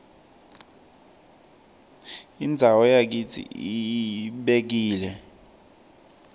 indzawo yakitsi ibekile